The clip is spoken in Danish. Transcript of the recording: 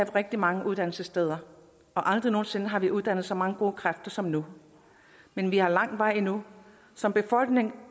rigtig mange uddannelsessteder og aldrig nogen sinde har vi uddannet så mange gode kræfter som nu men vi har lang vej endnu som befolkning